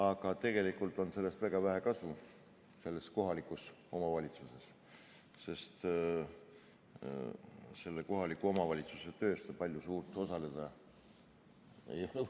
Aga tegelikult on sellest väga vähe kasu selles kohalikus omavalitsuses, sest selle kohaliku omavalitsuse töös ta osalema suurt võimeline ei ole.